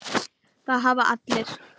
Það hafa allir